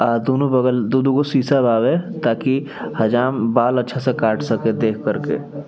अ दुनो बगल दू-दू गो शीशा बावे ताकि हजाम बाल अच्छा से काट सके देख कर के।